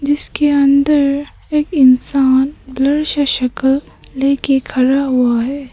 इसके अंदर एक इंसान ब्लर सा शकल लेकर खड़ा हुआ है।